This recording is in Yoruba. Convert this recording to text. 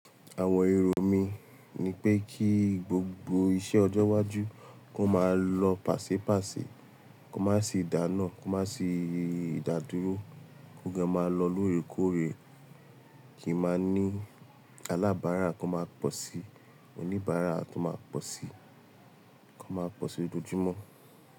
Àwọn èrò mí ní pé kí gbogbo iṣẹ́ ọjọ́ iwájú kó máa lọ pàṣè pàṣè, kó má sì dáná, kó má sì ìdádúró, kó gan máa lọ lóòrèkóòrè, kí n máa ní alábárà ko máa pọ̀ sí, oníbàárà tó máa pọ̀ sí, kó má pọ̀ sí lójoojúmọ́.